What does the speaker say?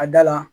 A da la